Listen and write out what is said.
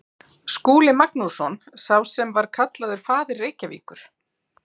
Skúli Magnússon, sá sem var kallaður faðir Reykjavíkur.